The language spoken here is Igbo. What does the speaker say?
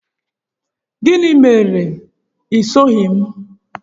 Gịnị mere i soghị m?